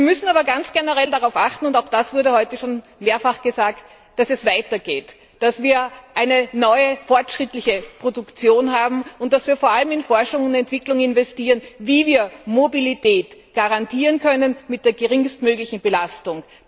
Wir müssen aber ganz generell darauf achten auch das wurde heute schon mehrfach gesagt dass es weitergeht, dass wir eine neue, fortschrittliche Produktion haben und dass wir vor allem in Forschung und Entwicklung dazu investieren, wie wir Mobilität garantieren können mit der geringstmöglichen Belastung.